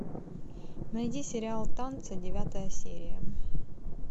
найди сериал танцы девятая серия